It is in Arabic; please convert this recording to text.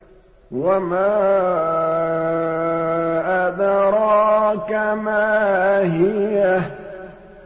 وَمَا أَدْرَاكَ مَا هِيَهْ